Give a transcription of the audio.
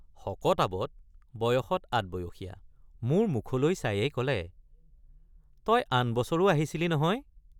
শকতআৱত বয়সত আদবয়সীয়৷। মোৰ মুখলৈ চায়েই কলে তই আন বছৰো আহিছিলি নহয়?